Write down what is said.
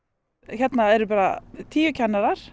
hérna eru bara tíu kennarar